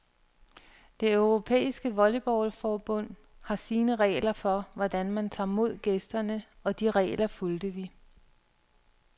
Det europæiske volleyballforbund har sine regler for, hvordan man tager mod gæsterne, og de regler fulgte vi.